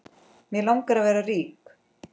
Mig langar að vera rík.